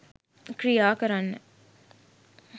ක්‍රියා කරන්න.